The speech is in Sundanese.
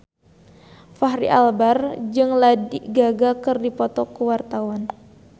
Fachri Albar jeung Lady Gaga keur dipoto ku wartawan